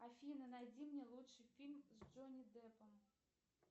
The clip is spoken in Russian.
афина найди мне лучший фильм с джонни деппом